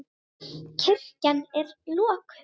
Kirkjan er lokuð.